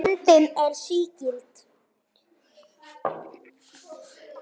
Myndin er sígild.